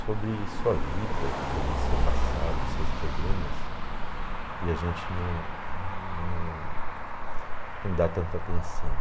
sobre sua vida, sobre seu passado, seus problemas, e a gente não não não dá tanta atenção.